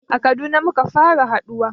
A Kaduna muka fara haɗuwa